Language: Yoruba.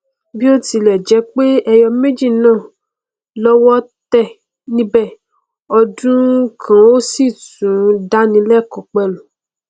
bí o tilẹ jẹ pé ẹyọ méjì náà lọwọ tẹ níbẹ ọ dùn kan ó sì tún dáni lẹkọọ pẹlú